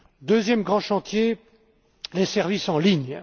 Deuxième grand chantier les services en ligne.